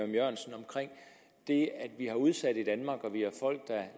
jørgensen omkring det at vi har udsatte